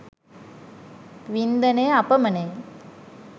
වින්දනය අපමණය.